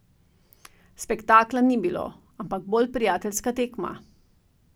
Spektakla ni bilo, ampak bolj prijateljska tekma.